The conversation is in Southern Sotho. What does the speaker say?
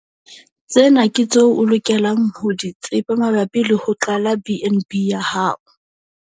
Tsena ke tseo o lokelang ho di tseba mabapi le ho qala BnB ya hao.